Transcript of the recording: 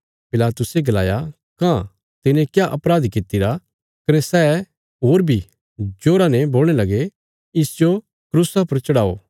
पिलातुसे गलाया कां तिने क्या अपराध कित्तिरा कने सै कने बी जोरजोरा ने बोलणे लगे इसजो क्रूसा पर चढ़ाओ